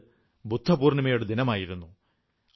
അത് ബുദ്ധപൂർണ്ണിമയുടെ ദിനമായിരുന്നു